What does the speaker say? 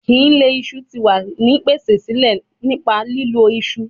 Kile iṣu ti wa ni pese sile nipa lilo iṣu